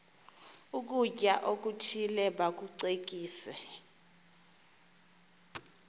ukutya okuthile bakucekise